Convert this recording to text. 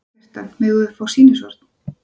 Kjartan: Megum við nokkuð fá sýnishorn?